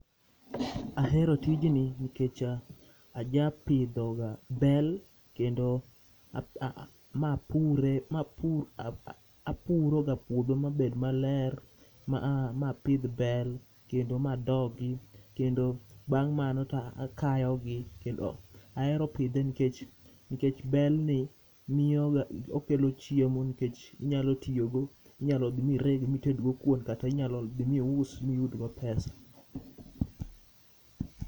Ahero tijni nikech ajapidho ga bel kendo a mapure, mapur, apuroga puodho mabed maler. Ma apidh bel kendo ma adogi, kendo bang' mano to akayogi. Ahero pidhe nkech, nkech bel ni miyoga okelo chiemo nkech inyalo tiyogo. Inyalo dhi mireg mitedgo kuon kata inyalo dhi mius miyudgo pesa.